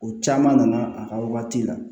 O caman nana a ka waati la